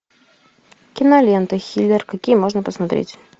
кинолента хиллер какие можно посмотреть